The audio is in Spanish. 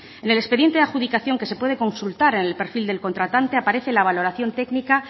en el expediente de adjudicación que se puede consultar en el perfil del contratante aparece la valoración técnica